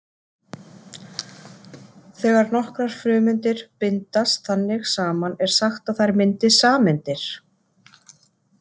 Þegar nokkrar frumeindir bindast þannig saman er sagt að þær myndi sameindir.